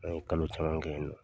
An ye kalo caman kɛ ye nɔ.